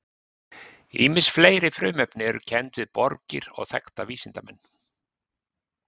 Ýmis fleiri frumefni eru kennd við borgir og þekkta vísindamenn.